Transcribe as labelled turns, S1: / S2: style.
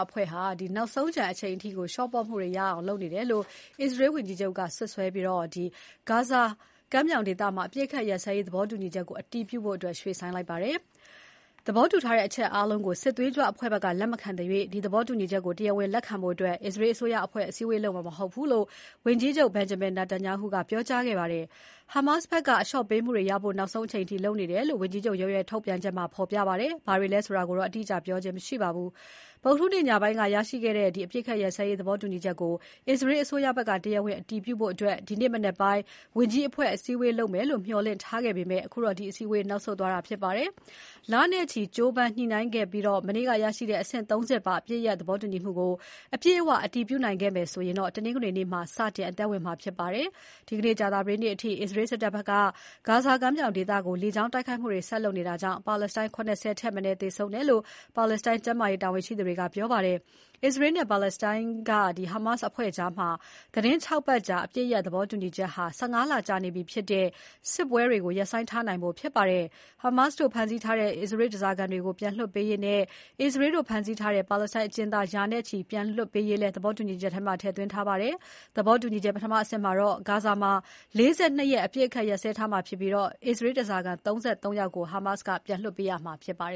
S1: အဖွဲ့က နောက်ဆုံးကျန်အချိန်အထိ လျှော့ပေါ့မှုတွေရဖို့ လုပ်နေတယ်လို့ အစ္စရေးဝန်ကြီးချုပ် က စွပ်စွဲပြီး ဂါဇာအပစ်ရပ်သဘောတူညီချက်ကို အတည်ပြုဖို့ ရွှေ့ဆိုင်းလိုက်ပါတယ်။ သဘောတူထားတဲ့အချက်အားလုံးကို စစ်သွေးကြွအဖွဲ့ဘက်က လက်မခံသရွေ့ ဒီသဘောတူညီချက်ကို တရားဝင်လက်ခံဖို့ အစ္စရေးအစိုးအဖွဲ့ အစည်းအဝေးလုပ်မှာ မဟုတ်ဘူးလို့ ဝန်ကြီးချုပ် Benjamin Netanyahu ကပြောကြားခဲ့ပါတယ်။ Hamas ဘက်က အလျှော့ပေးမှုတွေရဖို့ နောက်ဆုံးအချိန်အထိ လုပ်နေတယ်လို့ ဝန်ကြီးချုပ်ရုံးရဲ့ ထုတ်ပြန်ချက်မှာ ဖော်ပြပါတယ်။ ဘာတွေလဲဆိုတာတော့ အတိအကျပြောခြင်း မရှိပါဘူး။ ဗုဒ္ဓဟူးနေ့ညပိုင်းကရရှိခဲ့တဲ့ အပစ်အခတ်ရပ်စဲရေး သဘောတူညီချက်ကို အစ္စရေးအစိုးရဘက်က တရားဝင်အတည်ပြုဖို့ ဒီနေ့မနက်ပိုင်း ဝန်ကြီးအဖွဲ့ အစည်းအဝေးလုပ်မယ်လို့ မျှော်လင့်ထားခဲ့ပေမဲ့ အခုတော့ ဒီအစည်းအဝေး နောက်ဆုတ်သွားတာဖြစ်ပါတယ်။ လနဲ့ချီကြိုးပမ်းညှိနှိုင်းခဲ့ပြီး မနေ့ကရရှိတဲ့ အဆင့် ၃ ဆင့်ပါ အပစ်ရပ်သဘောတူညီမှုကို အပြည့်အဝ အတည်ပြုနိုင်ခဲ့မယ်ဆိုရင် တနင်္ဂနွေနေ့မှာ စတင်အသက်ဝင်မှာဖြစ်ပါတယ်။ ဒီနေ့ ကြာသပတေးနေ့အထိ အစ္စရေးစစ်တပ်ဘက်က ဂါဇာကမ်းမြောင်ဒေသကို လေကြောင်းကနေ ဆက်လက်တိုက်ခိုက်နေတာကြောင့် ပါလက်စတိုင်း ၇၀ ထက်မနည်း သေဆုံးတယ်လို့ ပါလက်စတိုင်း ကျန်းမာရေးတာဝန်ရှိသူတွေက ပြောပါတယ်။ အစ္စရေးနဲ့ ပါလက်စတိုင်းက Hamas အဖွဲ့ကြား သီတင်း ၆ ပတ်ကြာ အပစ်ရပ်သဘောတူညီချက်ဟာ ၁၅ လကြာနေပြီဖြစ်တဲ့ စစ်ပွဲတွေကို ရပ်ဆိုင်းထားနိုင်ဖို့ဖြစ်ပါတယ်။ Hamas တို့ဖမ်းဆီးထားတဲ့ အစ္စရေး ဓားစာခံတွေကို ပြန်လွှတ်ပေးရေးနဲ့ အစ္စရေးတို့ ဖမ်းဆီးထားတဲ့ ပါလက်စတိုင်းအကျဉ်းသား ရာနဲ့ချီ ပြန်လွှတ်ပေးရေးလဲ သဘောတူညီချက်မှာ ထည့်သွင်းထားပါတယ်။ သဘောတူညီချက် ပထမအဆင့်မှာတော့ ဂါဇာမှာ ၄၂ ရက် အပစ်အခတ်ရပ်စဲထားရမှာဖြစ်ပြီး အစ္စရေးဓားစာခံ ၃၃ ယောက်ကို Hamas က ပြန်လွှတ်ပေးရမှာပါ